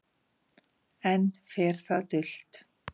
Enn fer það dult